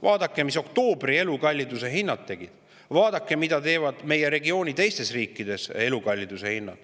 Vaadake, mida tegi oktoobris meie elukallidus, ja vaadake, mida teeb elukallidus meie regiooni teistes riikides.